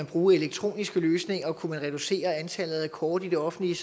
bruge elektroniske løsninger kunne man samlet reducere antallet af kort i det offentlige